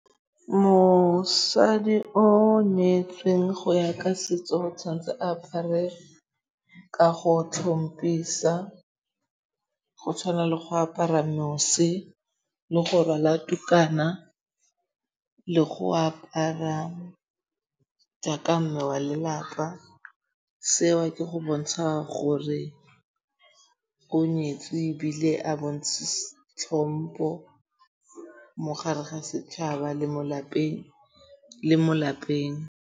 Mosadi o nyetsweng go ya ka setso tshwanetse apare ka go tlhompisa. Go tshwana le go apara mose le go rwala tukana, le go apara jaaka mme wa lelapa. Seo ke go bontsha gore o nyetswe ebile a tlhompo mogare ga setšhaba le mo lapeng.